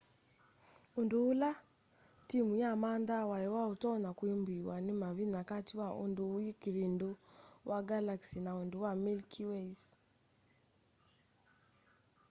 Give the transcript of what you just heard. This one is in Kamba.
undu ula timu yamanthaa wai utonya kwambiiw'a ni mavinya kati wa undu wi kivindu wa galaxy na undu wa milky way's